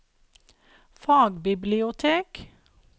fagbibliotek